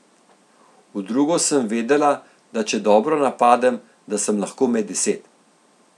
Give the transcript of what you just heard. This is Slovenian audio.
V drugo sem vedela, da če dobro napadem, da sem lahko med deset.